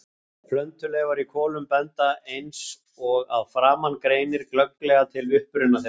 Plöntuleifar í kolum benda, eins og að framan greinir, glögglega til uppruna þeirra.